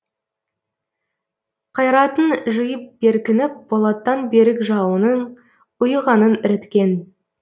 қайратын жиып беркініп болаттан берік жауының ұйығанын іріткен